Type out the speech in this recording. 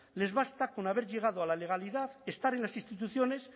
les basta con haber llegado a la legalidad estar en las instituciones